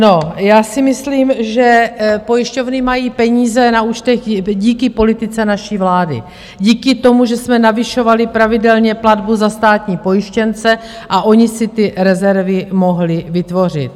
No, já si myslím, že pojišťovny mají peníze na účtech díky politice naší vlády, díky tomu, že jsme navyšovali pravidelně platbu za státní pojištěnce a ony si ty rezervy mohly vytvořit.